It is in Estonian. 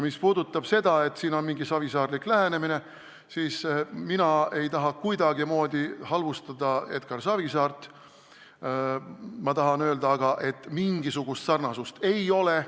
Mis puudutab seda, et siin on mingi savisaarelik lähenemine, siis mina ei taha kuidagimoodi halvustada Edgar Savisaart, aga ma tahan öelda, et mingisugust sarnasust ei ole.